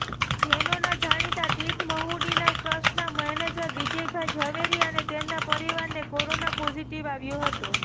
જૈનોના જાણીતા તીર્થ મહુડીના ટ્રસ્ટના મેનેજર વિજયભાઈ ઝવેરી અને તેમના પરિવારને કોરોના પોઝિટિવ આવ્યો હતો